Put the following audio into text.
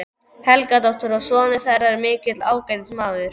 Helgadóttur, og sonur þeirra er mikill ágætismaður.